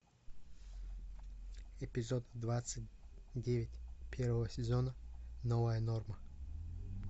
эпизод двадцать девять первого сезона новая норма